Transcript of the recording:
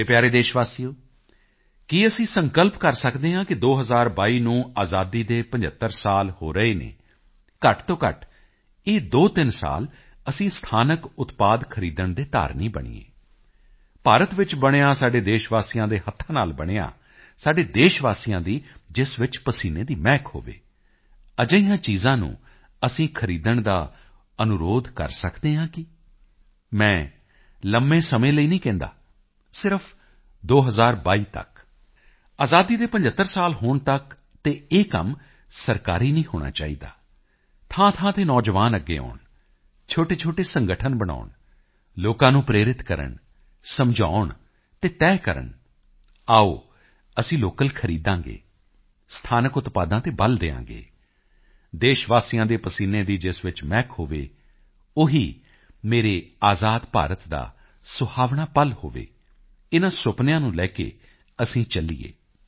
ਮੇਰੇ ਪਿਆਰੇ ਦੇਸ਼ਵਾਸੀਓ ਕੀ ਅਸੀਂ ਸੰਕਲਪ ਕਰ ਸਕਦੇ ਹਾਂ ਕਿ 2022 ਨੂੰ ਆਜ਼ਾਦੀ ਦੇ 75 ਸਾਲ ਹੋ ਰਹੇ ਹਨ ਘੱਟ ਤੋਂ ਘੱਟ ਇਹ 23 ਸਾਲ ਅਸੀਂ ਸਥਾਨਕ ਉਤਪਾਦ ਖਰੀਦਣ ਦੇ ਧਾਰਨੀ ਬਣੀਏ ਭਾਰਤ ਵਿੱਚ ਬਣਿਆ ਸਾਡੇ ਦੇਸ਼ਵਾਸੀਆਂ ਦੇ ਹੱਥਾਂ ਨਾਲ ਬਣਿਆ ਸਾਡੇ ਦੇਸ਼ਵਾਸੀਆਂ ਦੀ ਜਿਸ ਵਿੱਚ ਪਸੀਨੇ ਦੀ ਮਹਿਕ ਹੋਵੇ ਅਜਿਹੀਆਂ ਚੀਜ਼ਾਂ ਨੂੰ ਅਸੀਂ ਖਰੀਦਣ ਦਾ ਅਨੁਰੋਧ ਕਰ ਸਕਦੇ ਹਾਂ ਕੀ ਮੈਂ ਲੰਬੇ ਸਮੇਂ ਲਈ ਨਹੀਂ ਕਹਿੰਦਾ ਸਿਰਫ 2022 ਤੱਕ ਆਜ਼ਾਦੀ ਦੇ 75 ਸਾਲ ਹੋਣ ਤੱਕ ਅਤੇ ਇਹ ਕੰਮ ਸਰਕਾਰੀ ਨਹੀਂ ਹੋਣਾ ਚਾਹੀਦਾ ਥਾਂਥਾਂ ਤੇ ਨੌਜਵਾਨ ਅੱਗੇ ਆਉਣ ਛੋਟੇਛੋਟੇ ਸੰਗਠਨ ਬਣਾਉਣ ਲੋਕਾਂ ਨੂੰ ਪ੍ਰੇਰਿਤ ਕਰਨ ਸਮਝਾਉਣ ਅਤੇ ਤੈਅ ਕਰਨ ਆਓ ਅਸੀਂ ਲੋਕਲ ਖਰੀਦਾਂਗੇ ਸਥਾਨਕ ਉਤਪਾਦਾਂ ਤੇ ਬਲ ਦਿਆਂਗੇ ਦੇਸ਼ਵਾਸੀਆਂ ਦੇ ਪਸੀਨੇ ਦੀ ਜਿਸ ਵਿੱਚ ਮਹਿਕ ਹੋਵੇ ਉਹ ਹੀ ਮੇਰੇ ਆਜ਼ਾਦ ਭਾਰਤ ਦਾ ਸੁਹਾਵਣਾ ਪਲ ਹੋਵੇ ਇਨ੍ਹਾਂ ਸੁਪਨਿਆਂ ਨੂੰ ਲੈ ਕੇ ਅਸੀਂ ਚੱਲੀਏ